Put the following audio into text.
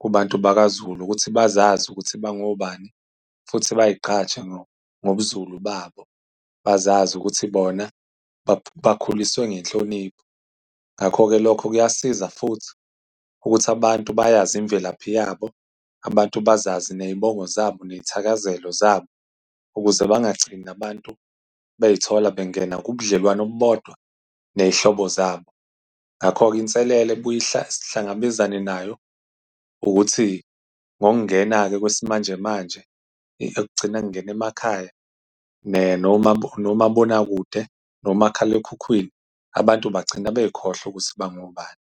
kubantu bakaZulu ukuthi bazazi ukuthi bangobani futhi bayigqaje ngobuZulu babo, bazazi ukuthi bona bakhuliswe ngenhlonipho. Ngakho-ke, lokho kuyasiza futhi ukuthi abantu bayazi imvelaphi yabo. Abantu bazazi ney'bongo zabo, ney'thakazelo zabo, ukuze bangagcini abantu bey'thola bengena kubudlelwano obubodwa ney'hlobo zabo. Ngakho-ke, inselelo ebuye sihlangabezane nayo ukuthi ngokungena-ke kwesimanjemanje okugcina kungena emakhaya, nomabonakude, nomakhalekhukhwini, abantu bagcina bey'khohlwa ukuthi bangobani.